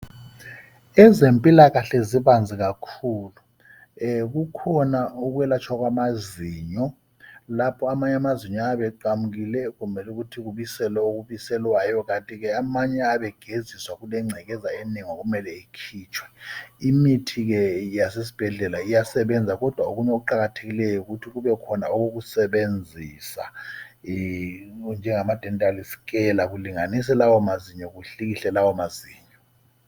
Ezempilakahle zibanzi kakhulu kukhona ukwelatshwa kamazinyo lapho amanye amazinyo ayabe eqamukile kumele ukuthi kubiselwe okubiselwayo kanti ke amanye ayabe egeziswa kulencekeza enengi okumele ikhitshwe. Imithi ke eyasesibhedlela iyasebenza kodwa okunye okuqakathekileyo yikuthi kube khona okusebenzisa okunjengabo DENTAL SCALE kulinganiswe lawo mazinyo kuhlikihlwe lawo mazinyo.